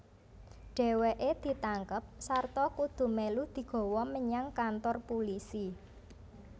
Dheweke ditangkep sarta kudu melu digawa menyang kantor pulisi